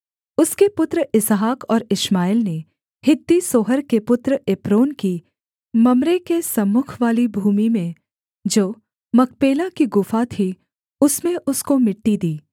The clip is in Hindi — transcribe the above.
उसके पुत्र इसहाक और इश्माएल ने हित्ती सोहर के पुत्र एप्रोन की मम्रे के सम्मुखवाली भूमि में जो मकपेला की गुफा थी उसमें उसको मिट्टी दी